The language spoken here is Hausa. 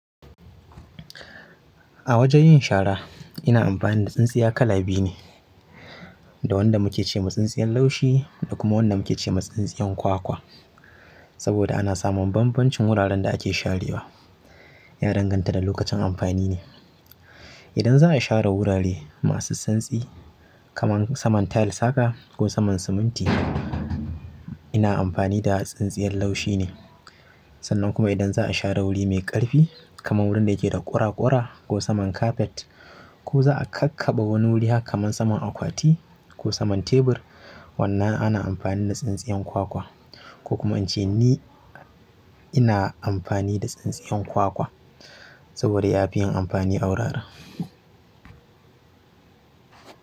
A wajen yin shara ina amfani da tsintsiya kala biyu ne, da wanda muke ce ma tsintsiyar laushi da kuma wanda muke ce ma tsintsiyar ƙwakwa saboda ana samun bambancin wuraren da ake sharewa ya danganta da lokacin amfani ne. Idan za'a share wurare masu santsi kamar saman tile saka ko saman siminti, ina amfani da tsintsiyar laushi ne. Sannan kuma idan za'a share wuri mai ƙarfi kamar wurin da yake da ƙuraƙura ko saman kafet ko za'a kakkaɓa wani wuri haka kamar saman akwati ko saman tebur, wannan ana amfani da tsintsiyar kwakwa. Ko kuma in ce ni ina amfani da tsintsiyar kwakwa saboda ya fi yin amfani a wurare.